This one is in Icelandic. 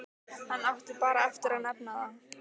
Hann átti bara eftir að nefna það.